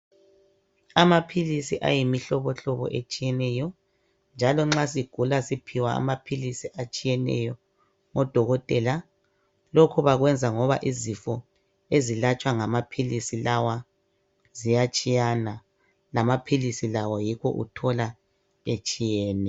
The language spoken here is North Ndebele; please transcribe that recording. Amaphilisi ayimihlobohlobo etshiyeneyo njalo nxa sigula siphiwa amaphilisi atshiyeneyo ngodokotela lokhu bakwenza ngoba izifo ezilatshwa ngamaphilisi lawa ziyatshiyana lamaphilisi lawo yikho uthola etshiyene.